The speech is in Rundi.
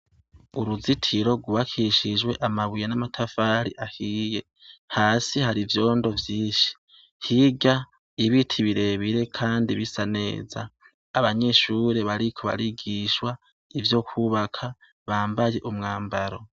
Uruzitiro rubakishijwe amabuye n'amatafari ahiye hasi hari ivyondo vyinshi higa ibiti birebire, kandi bisa neza abanyishure bariko barigishwa ivyo kwubaka bambaye umwambaro.